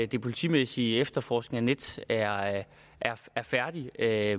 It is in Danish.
den politimæssige efterforskning af nets er er færdig er